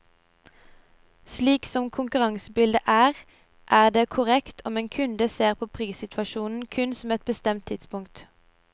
Slik som konkurransebildet er, er det korttenkt om en kunde ser på prissituasjonen kun på ett bestemt tidspunkt.